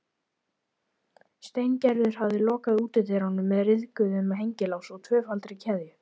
Steingerður hafði lokað útidyrunum með ryðguðum hengilás og tvöfaldri keðju.